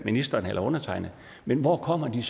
ministeren eller undertegnede men hvor kommer de